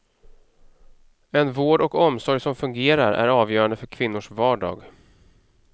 En vård och omsorg som fungerar är avgörande för kvinnors vardag.